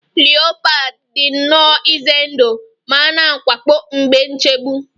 Leopard dị nnọọ ize ndụ ma na-awakpo mgbe nchegbu